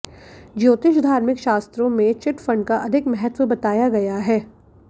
ज्योतिष धार्मिक शास्त्रों में चिटफंड का अधिक महत्व बताया गया है